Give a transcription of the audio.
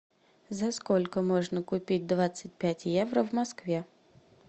за сколько можно купить двадцать пять евро в москве